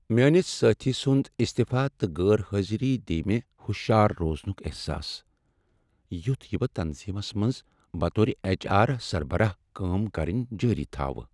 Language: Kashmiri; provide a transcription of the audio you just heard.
میٲنس سٲتھی سنٛد استیفا تہٕ غیر حٲضری دیہ مے٘ ہُشیار روزنک احساس یُتھ یہ بہٕ تنظیمس منز بطور ایچ آر سربراہ كٲم كرٕنۍ جٲری تھاوٕ۔